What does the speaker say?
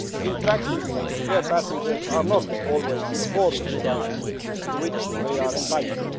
In practice, air passengers are not always afforded the rights to which they are entitled.